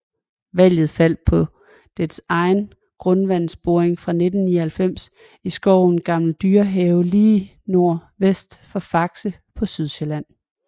Valget faldt på dets egen grundvandsboring fra 1999 i skoven Gammel Dyrehave lige nordvest for Faxe på Sydsjælland